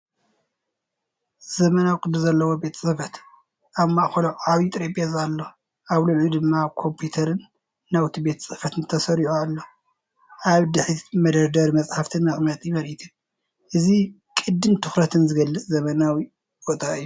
ዘመናውን ቅዲ ዘለዎን ቤት ጽሕፈት፣ ኣብ ማእከሉ ዓቢይ ጠረጴዛ ኣሎ፡ ኣብ ልዕሊኡ ድማ ኮምፒተርን ናውቲ ቤት ጽሕፈትን ተሰሪዑ ኣሎ። ኣብ ድሕሪት መደርደሪ መጻሕፍትን መቐመጢ ምርኢትን ፣ እዚ ቅዲን ትኹረትን ዝገልፅ ዘመናዊ ቦታ እዩ።